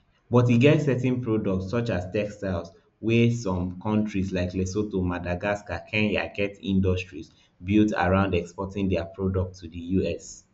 but e get certain products such as textiles wia some kontris like lesotho madagascar kenya get industries built around exporting dia products to di us